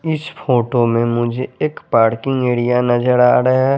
इस फोटो में मुझे एक पार्किंग एरिया नज़र आरा है।